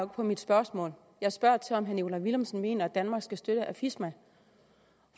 på mit spørgsmål jeg spørger til om herre nikolaj villumsen mener at danmark skal støtte afisma